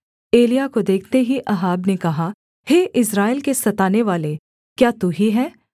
एलिय्याह को देखते ही अहाब ने कहा हे इस्राएल के सतानेवाले क्या तू ही है